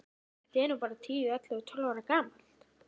Þetta er nú bara tíu, ellefu og tólf ára gamalt.